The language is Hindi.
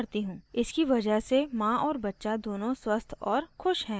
इसकी वजह से माँ और बच्चा दोनों स्वस्थ और खुश हैं